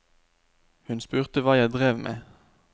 Hun spurte hva jeg drev med.